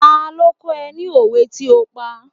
Ta ló kọ́ ọ ní òwe tí o pa?